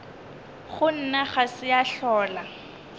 gona ga se ya hlola